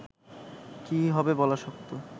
কী হবে বলা শক্ত